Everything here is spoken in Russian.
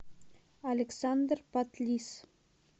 александр патлис